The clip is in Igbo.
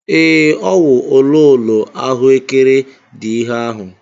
Ee, ọ wụ ololo ahuekere dị ihe ahụ.